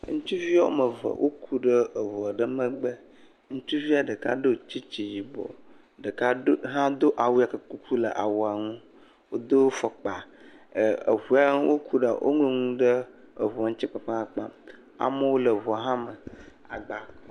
Ŋutsuvi woame eve woku ɖe eŋu aɖe megbe, ŋutsuvia ɖeka ɖo tsitsi yibɔ ɖeka ɖo ɖeka hã ɖo awu kuku hã le awua ŋu ɖeka do afɔkpa, eŋu ŋu woku ɖe..woŋlɔ nu ɖe eŋu ŋu kpakpaakpaamewoi hã le eŋua me agbawo hã le.